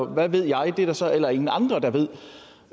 hvad ved jeg det er der så heller ingen andre der ved